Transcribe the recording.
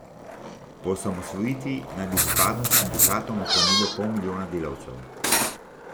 Po osamosvojitvi naj bi pripadnost sindikatom ohranilo pol milijona delavcev.